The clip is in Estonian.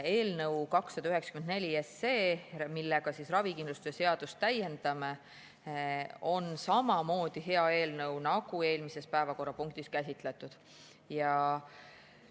Eelnõu 294, millega me ravikindlustuse seadust täiendame, on samamoodi hea eelnõu, nagu eelmises päevakorrapunktis käsitletud eelnõu.